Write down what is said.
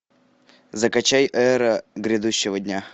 закачай эра грядущего дня